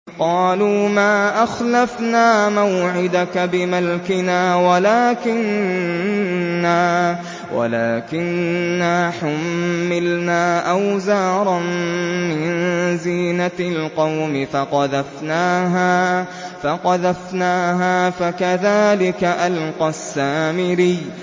قَالُوا مَا أَخْلَفْنَا مَوْعِدَكَ بِمَلْكِنَا وَلَٰكِنَّا حُمِّلْنَا أَوْزَارًا مِّن زِينَةِ الْقَوْمِ فَقَذَفْنَاهَا فَكَذَٰلِكَ أَلْقَى السَّامِرِيُّ